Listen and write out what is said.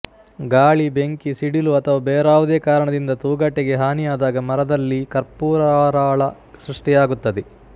ಗಾಳಿ ಬೆಂಕಿ ಸಿಡಿಲು ಅಥವಾ ಬೇರಾವುದೇ ಕಾರಣದಿಂದ ತೂಗಟೆಗೆ ಹಾನಿಯಾದಾಗ ಮರದಲ್ಲಿ ಕರ್ಪುರರಾಳ ಸೃಷ್ಟಿಯಾಗುತ್ತದೆ